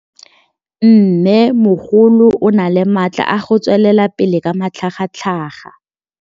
Mmêmogolo o na le matla a go tswelela pele ka matlhagatlhaga.